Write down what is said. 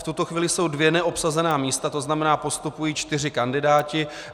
V tuto chvíli jsou dvě neobsazená místa, to znamená, postupují čtyři kandidáti.